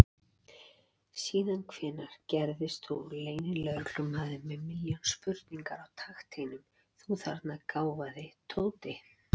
Síðan hvenær gerðist þú leynilögreglumaður með milljón spurningar á takteinum, þú þarna gáfaði Tóti!